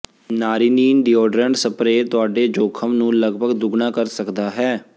ਨਾਰੀਨੀਨ deodorant spray ਤੁਹਾਡੇ ਜੋਖਮ ਨੂੰ ਲਗਭਗ ਦੁੱਗਣਾ ਕਰ ਸਕਦਾ ਹੈ